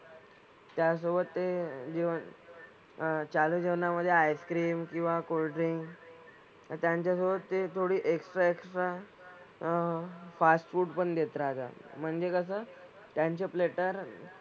त्याचसोबत ते जेवण अह चालू जेवणामधे ice-cream किंवा cold drink आणि त्यांच्यासोबत ते थोडी extra extra अह fast food पण देत राहतात म्हणजे कसं त्यांचे platter,